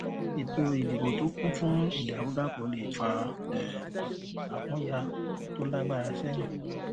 ètò ìdìbò tó kún fún ìdàrúdàpọ lè fa um àkúnya tó lágbára sẹyìn